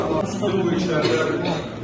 Üçüncüsü bu işlərdə.